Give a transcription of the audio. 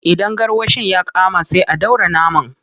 Idan garwashin ya kama, sai a dora naman.